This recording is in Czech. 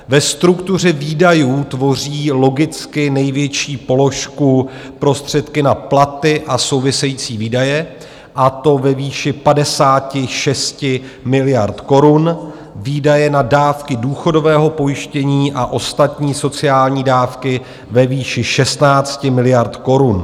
Ve struktuře výdajů tvoří logicky největší položku prostředky na platy a související výdaje, a to ve výši 56 miliard korun, výdaje na dávky důchodového pojištění a ostatní sociální dávky ve výši 16 miliard korun.